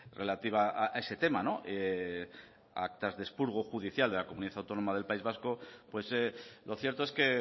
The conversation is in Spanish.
relativa a ese tema actas de expurgo judicial de la comunidad autónoma del país vasco pues lo cierto es que